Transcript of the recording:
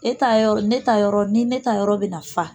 E ta yɔrɔ, ne ta yɔrɔ, ni ne ta yɔrɔ bɛ na fa